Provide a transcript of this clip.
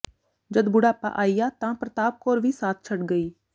ਜਦ ਬੁਢਾਪਾ ਆਇਆ ਤਾਂ ਪ੍ਰਤਾਪ ਕੌਰ ਵੀ ਸਾਥ ਛੱਡ ਗਈ